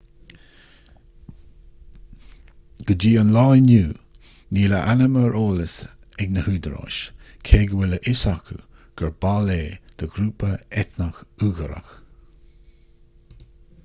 go dtí an lá inniu níl a ainm ar eolas ag na húdaráis cé go bhfuil a fhios acu gur ball é de ghrúpa eitneach uigiúrach